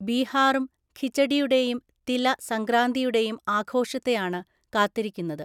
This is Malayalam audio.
ബീഹാറും ഖിചഡിയുടെയും തില സംക്രാന്തിയുടെയും ആഘോഷത്തെയാണു കാത്തിരിക്കുന്നത്.